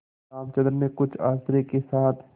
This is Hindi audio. रामचंद्र ने कुछ आश्चर्य के साथ